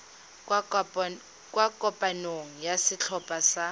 kwa kopanong ya setlhopha sa